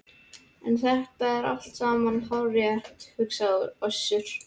En þetta er allt saman hárrétt, hugsaði Össur.